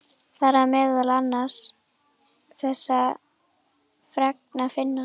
Þar er meðal annars þessa fregn að finna